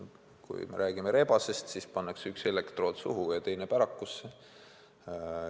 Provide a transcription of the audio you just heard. Kui me räägime rebasest, siis pannakse talle üks elektrood suhu ja teine pärakusse.